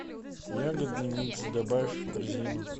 ягодный микс добавь в корзину